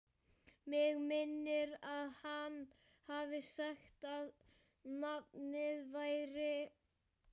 Mig minnir að hann hafi sagt að nafnið væri